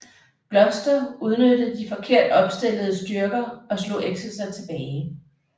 Gloucester udnyttede de forkert opstillede styrker og slog Exeter tilbage